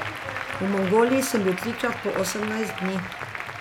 V Mongoliji sem bil trikrat po osemnajst dni.